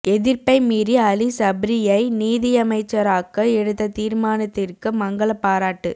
எதிர்ப்பை மீறி அலி சப்றியை நீதியமைச்சராக்க எடுத்த தீர்மானத்திற்கு மங்கள பாராட்டு